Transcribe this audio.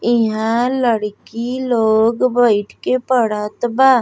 इहाँ लड़की लोग बईठ के पढ़त बा।